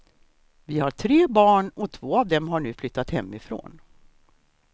Vi har tre barn och två av dem har nu flyttat hemifrån.